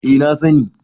eh na sani